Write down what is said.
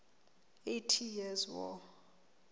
eighty years war